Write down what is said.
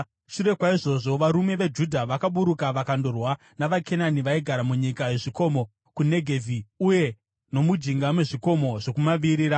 Shure kwaizvozvo, varume veJudha vakaburuka vakandorwa navaKenani vaigara munyika yezvikomo, kuNegevhi uye nomujinga mezvikomo zvokumavirira.